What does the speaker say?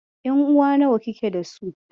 Ƴanuwa nawa kike dasu?